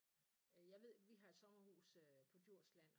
Jeg ved vi har et sommerhus øh på Djursland